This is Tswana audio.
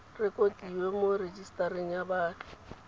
rekotiwe mo rejisetareng ya baagi